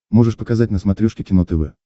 можешь показать на смотрешке кино тв